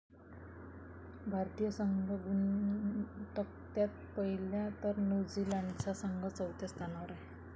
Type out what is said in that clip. भारतीय संघ गुणतक्त्यात पहिल्या तर न्यूझीलंडचा संघ चौथ्या स्थानावर आहे.